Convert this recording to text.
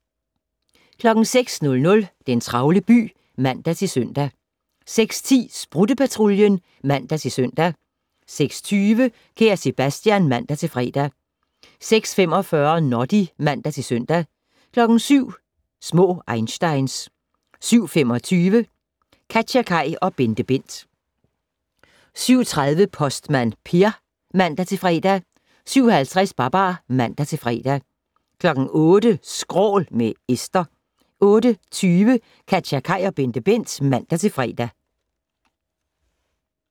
06:00: Den travle by (man-søn) 06:10: Sprutte-Patruljen (man-søn) 06:20: Kære Sebastian (man-fre) 06:45: Noddy (man-søn) 07:00: Små einsteins 07:25: KatjaKaj og BenteBent 07:30: Postmand Per (man-fre) 07:50: Babar (man-fre) 08:00: Skrål - med Esther 08:20: KatjaKaj og BenteBent (man-fre)